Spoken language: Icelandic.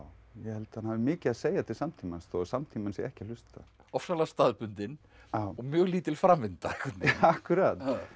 ég held að hafi mikið að segja til samtímans þó að samtíminn sé ekki að hlusta ofsalega staðbundinn og mjög lítil framvinda akkúrat